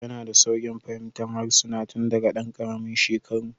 Yana da sauƙin fahimtar harsuna tun daga ɗan ƙaramin shekaru